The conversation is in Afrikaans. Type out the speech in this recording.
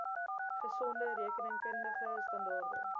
gesonde rekenkundige standaarde